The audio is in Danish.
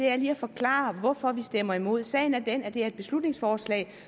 er lige at forklare hvorfor vi stemmer imod sagen er den at det er et beslutningsforslag